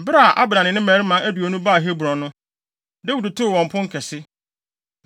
Bere a Abner ne ne mmarima aduonu baa Hebron no, Dawid too wɔn pon kɛse.